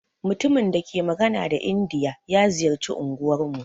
Mutumin dake magana da indiya ya ziƴarci unguwan mu.